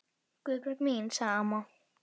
Guðbjörg mín, sagði amma.